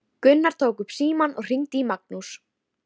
Gunnar tók upp símann og hringdi í Magnús.